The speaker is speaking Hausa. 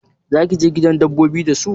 Zaki je gidan dabbobi da su?